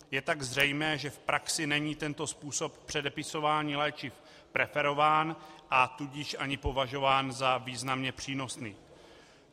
Je tak zřejmé, že v praxi není tento způsob předepisování léčiv preferován, a tudíž ani považován za významně přínosný.